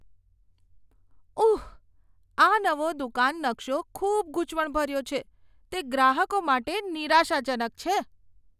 ઉહ, આ નવો દુકાન નકશો ખૂબ ગૂંચવણભર્યો છે. તે ગ્રાહકો માટે નિરાશાજનક છે.